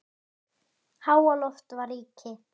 Háaloft var ríki